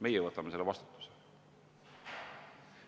Meie võtame selle vastutuse.